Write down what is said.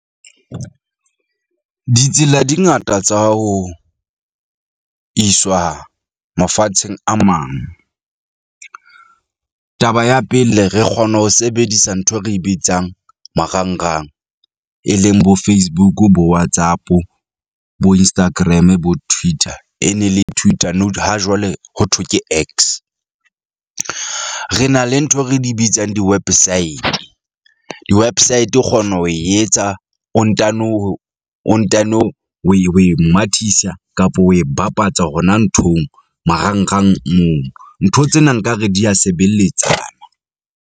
Ditsela di ngata tsa ho iswa mafatsheng a mang. Taba ya pele, re kgona ho sebedisa nthwe re bitsang marangrang, e leng bo-Facebook-u, bo-WhatsApp-o, bo-Instagram-e, bo-Twitter e ne le Twitter ha jwale ho thwe ke X. Re na le ntho re di bitsang diwepesaete, di-website o kgona ho e etsa o ntano hore o ntano we we mathisa kapa we bapatsa hona nthong, marangrang moo. Ntho tsena nkare di ya sebeletsana.